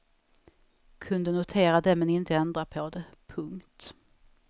Kunde notera det men inte ändra på det. punkt